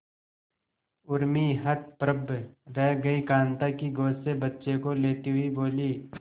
उर्मी हतप्रभ रह गई कांता की गोद से बच्चे को लेते हुए बोली